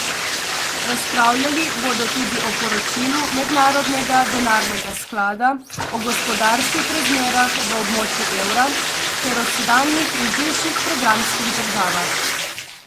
Razpravljali bodo tudi o poročilu Mednarodnega denarnega sklada o gospodarskih razmerah v območju evra ter o sedanjih in bivših programskih državah.